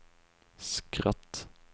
skratt